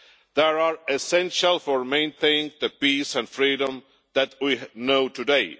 They are essential for maintaining the peace and freedom that we know today.